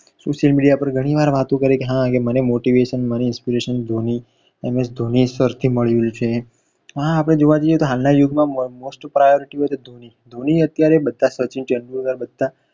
social media પર ઘણી વાર વાતો કરીએ કે હા હા મને motivation મને inspiration ધોની એમએસ ધોની સરથી મળ્યું છે હા હા આપણે જોવા જઈએ તો હાલના યુગ મા most priority હોય તો ધોની. ધોની અત્યારે બધા સચિન તેંડુલકર બધા